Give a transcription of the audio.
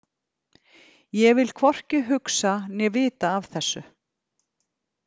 Ég vil hvorki hugsa né vita af þessu.